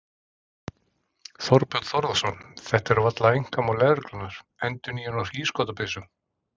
Þorbjörn Þórðarson: Þetta er varla einkamál lögreglunnar, endurnýjun á hríðskotabyssum?